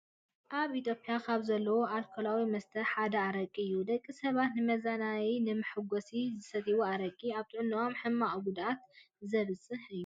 ኣብ ኢትዮጵያ ካብ ዘለዎ ኣልኮላዊ መስተ ሓደ ኣረቂ እዩ። ደቂ ሰባት ንመዝናነይን ንመሓጎስን ዝሰትይዎ ኣረቂ ኣብ ጥዕነኦም ሕማቅ ጉድኣት ዘብፅሕ እዩ።